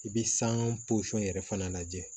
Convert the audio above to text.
I bɛ san yɛrɛ fana lajɛ